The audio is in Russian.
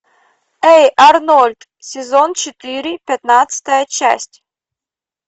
эй арнольд сезон четыре пятнадцатая часть